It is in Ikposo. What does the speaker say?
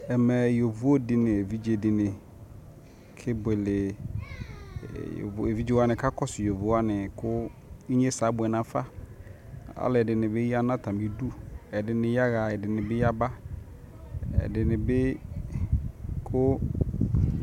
ɛmɛyɔvɔ dini nʋ ɛvidzɛ dini kɛ bʋɛlɛ, ɛvidzɛ wani kakɔsʋ yɔvɔ wani kʋ inyɛsɛ abʋɛ nʋ aƒa, alʋɛdini bi yanʋ atami idʋ, ɛdini yaha ɛdini bi yaba ɛdinibi kʋ